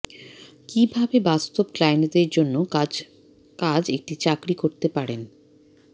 কিভাবে বাস্তব ক্লায়েন্টদের জন্য কাজ কাজ একটি চাকরী করতে পারেন